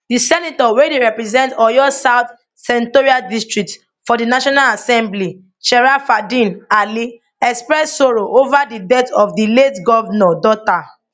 di senator wey dey represent oyo south senatorial district for di national assembly sharafadeen alli express sorrow ova di death of di late govnor daughter